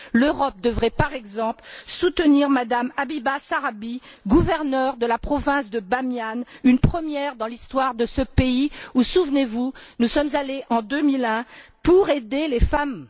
L'Europe devrait, par exemple, soutenir M me Habiba Sorabi, gouverneure de la province de Bamiyan, une première dans l'histoire de ce pays où, souvenez vous, nous sommes allés en 2001 pour aider les femmes.